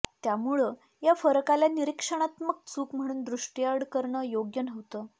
त्यामुळं या फरकाला निरीक्षणात्मक चूक म्हणून दृष्टीआड करणं योग्य नव्हतं